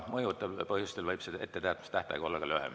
Mõjuvatel põhjustel võib see etteteatamistähtaeg olla ka lühem.